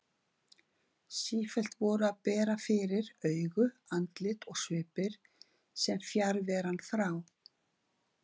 Sífellt voru að bera fyrir augu andlit og svipir sem fjarveran frá